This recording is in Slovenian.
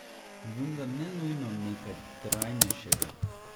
Vendar ne nujno nekaj trajnejšega.